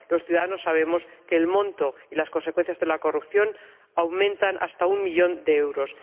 Los ciudadanos sabemos que el monto y las consecuencias de la corrupción ascienden ya a un millón de euros.